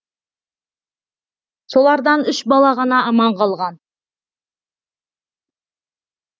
солардан үш бала ғана аман қалған